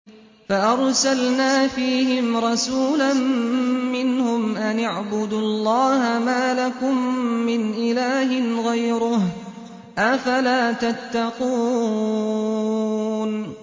فَأَرْسَلْنَا فِيهِمْ رَسُولًا مِّنْهُمْ أَنِ اعْبُدُوا اللَّهَ مَا لَكُم مِّنْ إِلَٰهٍ غَيْرُهُ ۖ أَفَلَا تَتَّقُونَ